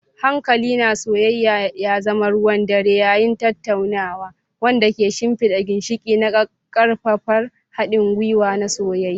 Hankali na soyayya ya zama ruwan dare yayin tattaunawa, wanda ke shimfida ginshiƙi na ƙaƙƙarfan haɗin gwiwa na soyayya.